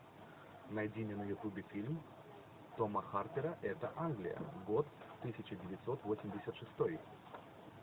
найди мне на ютубе фильм тома харпера это англия год тысяча девятьсот восемьдесят шестой